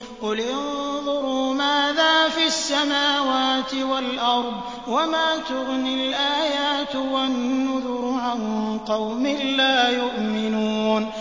قُلِ انظُرُوا مَاذَا فِي السَّمَاوَاتِ وَالْأَرْضِ ۚ وَمَا تُغْنِي الْآيَاتُ وَالنُّذُرُ عَن قَوْمٍ لَّا يُؤْمِنُونَ